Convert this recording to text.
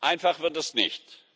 Einfach wird das nicht.